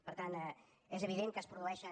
per tant és evident que es produeixen